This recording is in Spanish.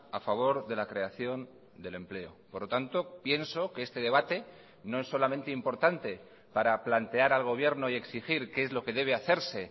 a favor de la creación del empleo por lo tanto pienso que este debate no es solamente importante para plantear al gobierno y exigir qué es lo que debe hacerse